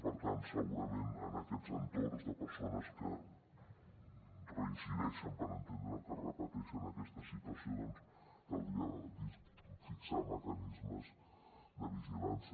per tant segurament en aquests entorns de persones que reincideixen per entendre’ns o que repeteixen aquesta situació caldria fixar mecanismes de vigilància